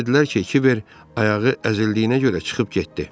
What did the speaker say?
Ona dedilər ki, Kiver ayağı əzildiyinə görə çıxıb getdi.